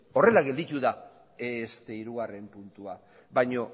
horrela gelditu da hirugarrena puntua baino